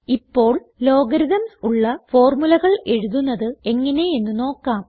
ഇപ്പോൾ ലോഗരിത്മ്സ് ഉള്ള formulaകൾ എഴുതുന്നത് എങ്ങനെയെന്ന് നോക്കാം